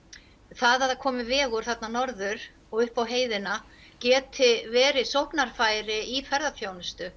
það að komi vegur þarna norður og upp á heiðina geti verið sóknarfæri í